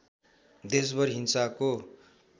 देशभर हिंसाको